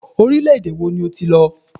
Orílẹ-èdè wo ni o ti lọ?